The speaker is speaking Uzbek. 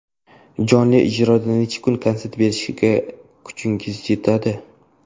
Jonli ijroda necha kun konsert berishga kuchingiz yetadi?